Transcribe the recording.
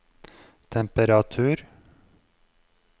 temperatur